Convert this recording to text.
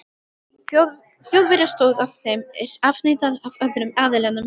Þjóðverja stóð ef þeim er afneitað af öðrum aðilanum?